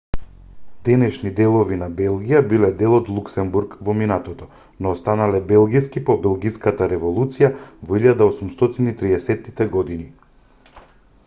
денешни делови на белгија биле дел од луксембург во минатото но станале белгиски по белгиската револуција во 1830-тите години